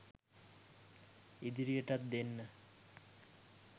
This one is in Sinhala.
ඉදිරියටත් දෙන්න